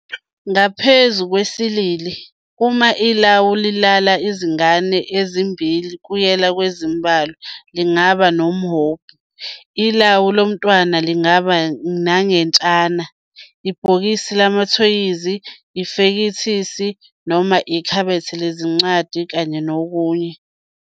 Ngaphezu kwesilili, uma ilawu lilala izingane ezimbhili kuyela kwezimbalwa, lingaba nomhhobhu, ilawu lomntwana lingaba nengetshana, ibhokisi lamathoyizi, isifekethisi, noma ikhabethe lezincwadi kanye nokunye.